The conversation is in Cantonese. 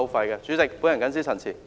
代理主席，我謹此陳辭。